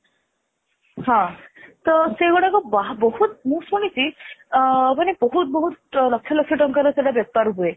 ହଁ ତ ସେଗୁଡାକ ବା ବହୁତ ମୁଁ ଶୁଣିଛି ଅ ମାନେ ବହୁତ ବହୁତ ଲକ୍ଷ ଲକ୍ଷ ଟଙ୍କାର ସେଟା ବେପାର ହୁଏ